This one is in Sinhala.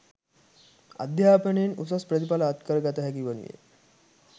අධ්‍යාපනයෙන් උසස් ප්‍රතිඵල අත්කර ගත හැකි වනුයේ